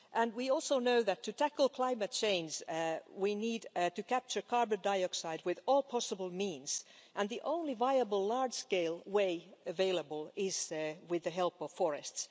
We also know that to tackle climate change, we need to capture carbon dioxide with all possible means, and the only viable large scale way available is with the help of forests.